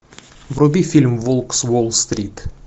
вруби фильм волк с уолл стрит